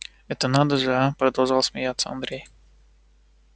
это надо же а продолжал смеяться андрей